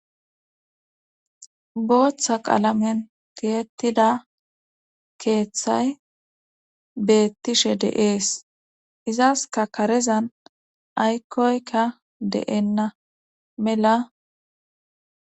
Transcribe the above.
booththa qaalamen tiyetida keeththay beettishe de'es izaska karezan aykkoyka de7enna mela